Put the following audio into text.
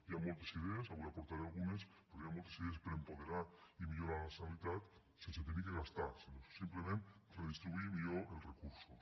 hi ha moltes idees avui n’aportaré algunes però hi ha moltes idees per a apoderar i millorar la sanitat sense haver de gastar sinó simplement redistribuint millor els recursos